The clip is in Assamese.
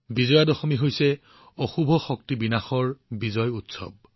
বিজয়া দশমী হৈছে অনীতিৰ ওপৰত নীতিৰ বিজয়ৰ উৎসৱ